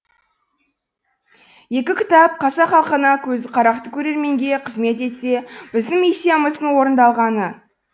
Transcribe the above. екі кітап қазақ халқына көзі қарақты көрерменге қызмет етсе біздің миссиямыздың орындалғаны